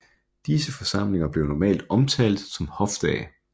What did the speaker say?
Disse forsamlinger blev normalt omtalt som Hofdage